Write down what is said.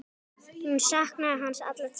Hún saknaði hans alla tíð.